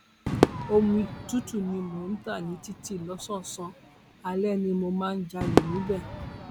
omi tútù ni mò ń ta ní títì lọsànán alẹ ni mo máa ń jalè níbẹ